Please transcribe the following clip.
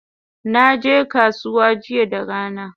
Naje kasuwa jiya da rana